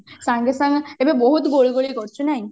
ସାଙ୍ଗେ ସାଙ୍ଗେ ଏବେ ବହୁତ ଗୁଳୁଗୁଳି କରୁଛି ନାଇଁ